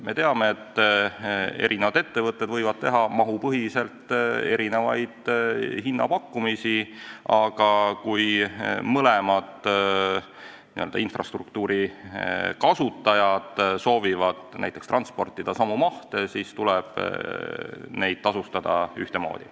Me teame, et eri ettevõtted võivad teha mahupõhiselt erinevaid hinnapakkumisi, aga kui mõlemad infrastruktuuri kasutajad soovivad näiteks transportida samu mahte, siis tuleb neid tasustada ühtemoodi.